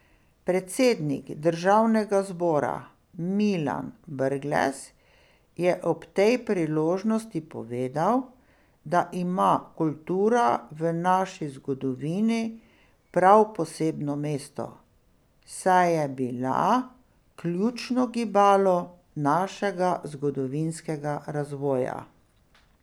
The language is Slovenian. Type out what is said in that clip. Predsednik Državnega zbora Milan Brglez je ob tej priložnosti povedal, da ima kultura v naši zgodovini prav posebno mesto, saj je bila ključno gibalo našega zgodovinskega razvoja.